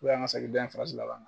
Ko y'an ka segi dɔ in farasi laban